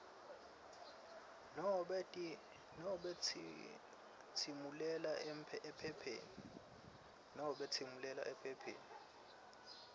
nobe tsimulela ephepheni